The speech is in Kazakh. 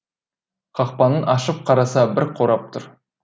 қақпаның ашып қараса бір қорап тұр